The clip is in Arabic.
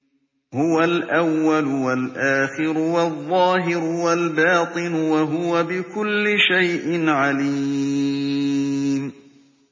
هُوَ الْأَوَّلُ وَالْآخِرُ وَالظَّاهِرُ وَالْبَاطِنُ ۖ وَهُوَ بِكُلِّ شَيْءٍ عَلِيمٌ